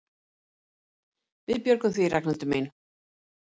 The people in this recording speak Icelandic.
Við björgum því, Ragnhildur mín.